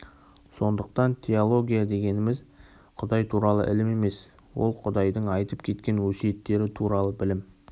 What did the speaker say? сондықтан теология дегеніміз құдай туралы ілім емес ол құдайдың айтып кеткен өсиеттері туралы білім